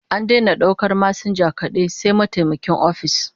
An daina daukar masinja kadai, sai mataimakin ofis